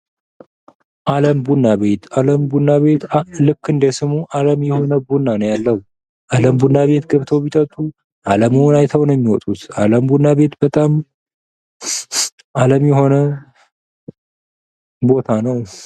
አለም ቡና ቤት አለም ቡና ቤት ልክ እንደስሙ አለም የሆነ ቡና ነው ያለው። አለም ቡና ቤት ቢጠጡ አለምዎን አይተው ነው የሚወጡት። አለም ቡና በት በጣም አለም የሆነ ቦታ ነው።